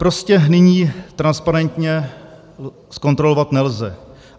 Prostě nyní transparentně zkontrolovat nelze.